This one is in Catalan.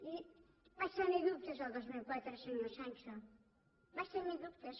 i vaig tenir dubtes el dos mil quatre senyor sancho vaig tenir dubtes